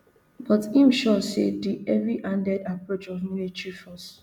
but im sure say di heavyhanded approach of military force